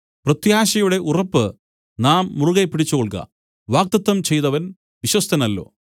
പ്രത്യാശയുടെ ഉറപ്പ് നാം മുറുകെ പിടിച്ചുകൊൾക വാഗ്ദത്തം ചെയ്തവൻ വിശ്വസ്തനല്ലോ